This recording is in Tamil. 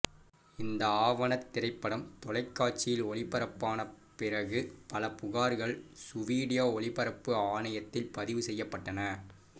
இந்த ஆவணத் திரைப்படம் தொலைக்காட்சியில் ஒளிபரப்பான பிறகு பல புகார்கள் சுவீடிய ஒளிபரப்பு ஆணையத்தில் பதிவு செய்யப்பட்டன